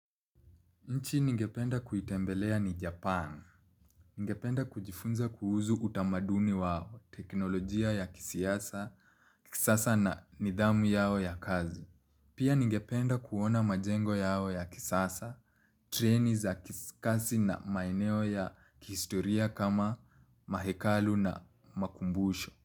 Nchi ningependa kuitembelea ni Japan. Ningependa kujifunza kuhuzu utamaduni wao teknolojia ya kisasa na nidhamu yao ya kazi. Pia ningependa kuona majengo yao ya kisasa, treni za ki kasi na maeneo ya kihistoria kama mahekalu na makumbusho.